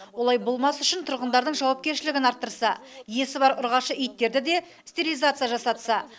олай болмас үшін тұрғындардың жауапкершілігін арттырса иесі бар ұрғашы иттерге де стерилизация жасатса